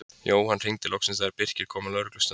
Jóhann hringdi loksins þegar Birkir kom á lögreglustöðina.